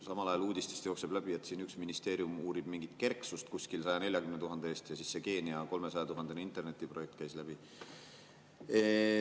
Samal ajal uudistest jookseb läbi, et üks ministeerium uurib mingit kerksust kuskil 140 000 eest ja see Keenia 300 000-eurone internetiprojekt käis läbi.